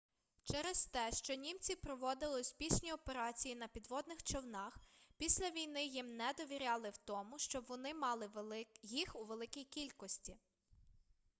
через те що німці проводили успішні операції на підводних човнах після війни їм не довіряли в тому щоб вони мали їх у великій кількості